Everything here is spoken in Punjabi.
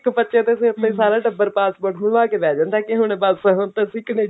ਇੱਕ ਬੱਚੇ ਤੇ ਫ਼ੇਰ ਟੱਬਰ passport ਬਣਵਾ ਕਿ ਬੈਠ ਜਾਂਦਾ ਕਿ ਹੁਣ ਬਸ ਹੁਣ ਤਾਂ ਅਸੀਂ